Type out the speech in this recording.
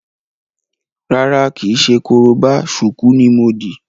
Rárá, kìí ṣe korobá, ṣùkú ní mo dì.